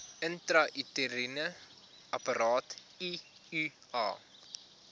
intrauteriene apparaat iua